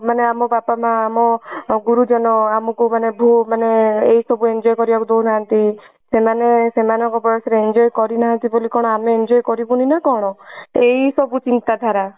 ମାନେ ଆମ ବାପା ମା ମୋ ଗୁରୁଜନ ଅମକୁ ମାନେ ଭୂ ମାନେ ଏଇ ସବୁ କୁ enjoy କରିବାକୁ ଦଉନାହାନ୍ତି। ସେମାନେ ସେମାନଙ୍କ ବୟସ ରେ enjoy କରିନାହାନ୍ତି ବୋଲି କଣ ଆମେ enjoy କରିବୁନି ନା କଣ। ଏଇ ସବୁ ଚିନ୍ତାଧାରା